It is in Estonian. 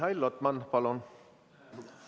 Mihhail Lotman, palun!